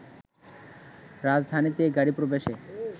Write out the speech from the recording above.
রাজধানীতে গাড়ী প্রবেশে